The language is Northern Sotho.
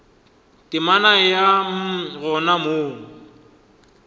temana ya mm gona mo